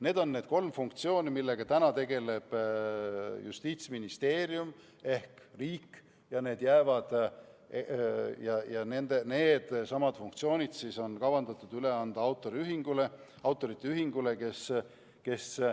Need on need kolm funktsiooni, millega praegu tegeleb Justiitsministeerium ehk riik, ja needsamad funktsioonid on kavandatud üle anda autorite ühingule.